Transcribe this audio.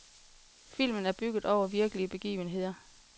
Filmen er bygget over virkelige begivenheder.